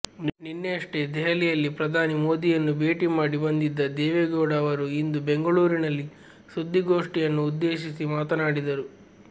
ನಿನ್ನೆಯಷ್ಟೇ ದೆಹಲಿಯಲ್ಲಿ ಪ್ರಧಾನಿ ಮೋದಿಯನ್ನು ಭೇಟಿ ಮಾಡಿ ಬಂದಿದ್ದ ದೇವೇಗೌಡ ಅವರು ಇಂದು ಬೆಂಗಳೂರಿನಲ್ಲಿ ಸುದ್ದಿಗೋಷ್ಠಿಯನ್ನು ಉದ್ದೇಶಿಸಿ ಮಾತನಾಡಿದರು